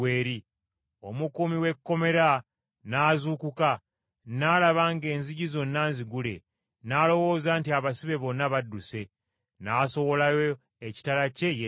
Omukuumi w’ekkomera n’azuukuka, n’alaba ng’enzigi zonna nzigule, n’alowooza nti abasibe bonna badduse, n’asowolayo ekitala kye yette!